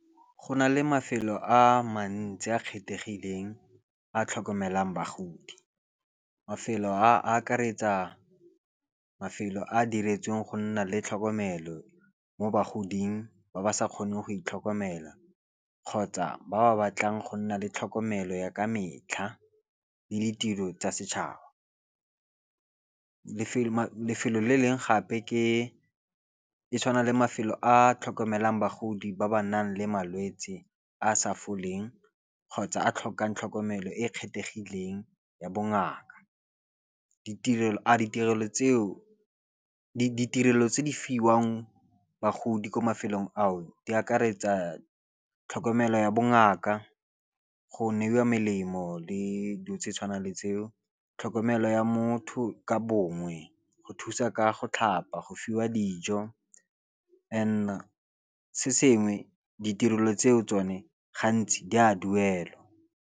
Go na le mafelo a mantsi a kgethegileng a tlhokomelang bagodi. Mafelo a akaretsa mafelo a diretsweng go nna le tlhokomelo mo bagoding ba ba sa kgoneng go itlhokomela, kgotsa ba ba batlang go nna le tlhokomelo ya ka metlha le ditiro tsa setšhaba. Lefelo le leng gape ke le tshwana le mafelo a a tlhokomelang bagodi ba ba nang le malwetsi a sa foleng, kgotsa a tlhokang tlhokomelo e e kgethegileng ya bongaka. Ditirelo tse di fiwang bagodi ko mafelong ao di akaretsa tlhokomelo ya bongaka, go neiwa melemo le dilo tse tshwanang le tseo, tlhokomelo ya motho ka bongwe, go thusa ka go tlhapa, go fiwa dijo and se sengwe ditirelo tseo tsone gantsi di a duelwa.